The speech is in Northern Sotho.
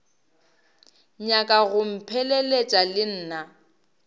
nyaka go mpheleletša le nna